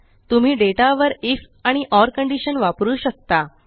तुम्ही डेटा वर आयएफ आणि ओर कंडीशन वापरु शकता